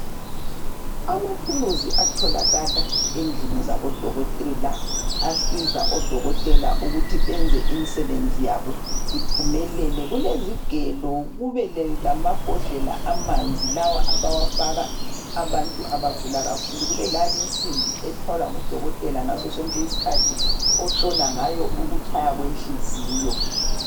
Amathuluzi atholakala endlini zabo dokotela asiza odokotela ukuthi benze imisebenzi yabo iphumelele kulezigelo kube lamabhodlela amanzi lawa abawafaka abantu abagula kakhulu kube ale insimbi ethwalwa ngudokotela ngaso sonke isikhathi ohlola ngayo ukutshaya kwenhliziyo.